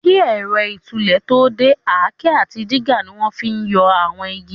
Kí ẹ̀rọ ìtúlẹ̀ tó dé, àáké àti dígà ni wọ́n fi n yọ àwọn igi